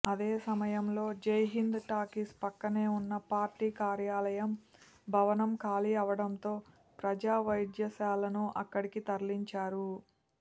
అదే సమయంలో జైహింద్ టాకీస్ పక్కనే ఉన్న పార్టీ కార్యాలయం భవనం ఖాళీ అవటంతో ప్రజా వైద్యశాలను అక్కడికి తరలించారు